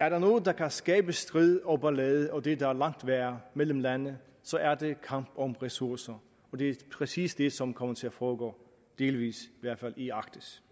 er der noget der kan skabe strid og ballade og det der er langt værre mellem lande så er det kampen om ressourcer og det er præcis det som kommer til at foregå delvis i hvert fald i arktis